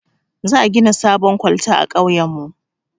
Za a gina sabon kwalta a kauyen mu